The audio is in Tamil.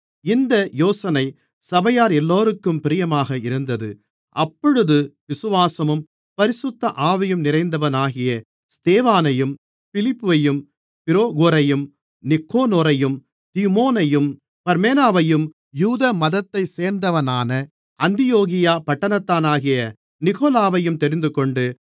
இந்த யோசனை சபையாரெல்லோருக்கும் பிரியமாக இருந்தது அப்பொழுது விசுவாசமும் பரிசுத்த ஆவியும் நிறைந்தவனாகிய ஸ்தேவானையும் பிலிப்பையும் பிரொகோரையும் நிக்கானோரையும் தீமோனையும் பர்மெனாவையும் யூத மதத்தைச் சேர்ந்தவனான அந்தியோகியா பட்டணத்தானாகிய நிக்கொலாவையும் தெரிந்துகொண்டு